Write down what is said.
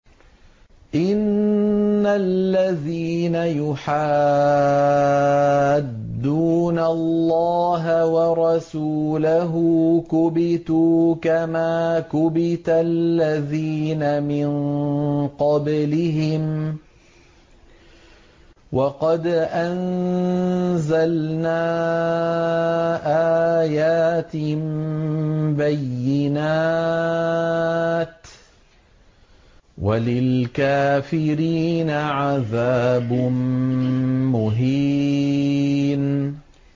إِنَّ الَّذِينَ يُحَادُّونَ اللَّهَ وَرَسُولَهُ كُبِتُوا كَمَا كُبِتَ الَّذِينَ مِن قَبْلِهِمْ ۚ وَقَدْ أَنزَلْنَا آيَاتٍ بَيِّنَاتٍ ۚ وَلِلْكَافِرِينَ عَذَابٌ مُّهِينٌ